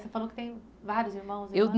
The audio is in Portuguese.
Você falou que tem vários irmãos, irmãs.